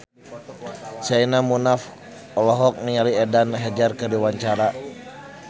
Sherina Munaf olohok ningali Eden Hazard keur diwawancara